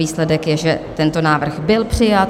Výsledek je, že tento návrh byl přijat.